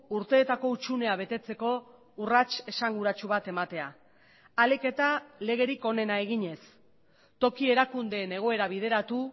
urteetako hutsunea betetzeko urrats esanguratsu bat ematea ahalik eta legerik onena eginez toki erakundeen egoera bideratu